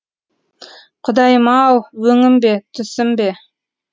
құдайым ау өңім бе түсім бе